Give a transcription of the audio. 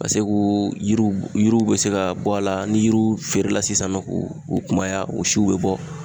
Ka se g'u yiriw yiriw be se ka bɔ a la ni yiriw feerela sisan nɔ k'o kunbaya o siw be bɔ